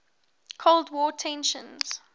cold war tensions